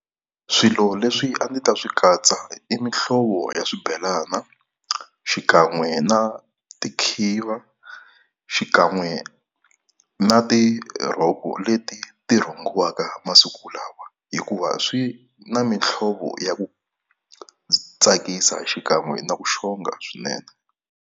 Swilo leswi a ndzi ta swi katsa i mihlovo ya swibelana xikan'we na tikhiva, xikan'we na tirhoko leti ti rhungiwaka masiku lawa. Hikuva swi na mihlovo ya ku tsakisa xikan'we na ku xonga swinene.